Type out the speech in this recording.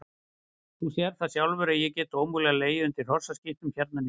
Þú sérð það sjálfur að ég get ómögulega legið undir hrossaskítnum hérna niður frá.